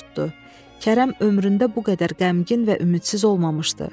Kərəm ömründə bu qədər qəmgin və ümidsiz olmamışdı.